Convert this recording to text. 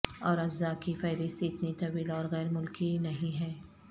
اور اجزاء کی فہرست اتنی طویل اور غیر ملکی نہیں ہے